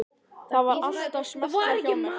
Það var allt að smella hjá mér.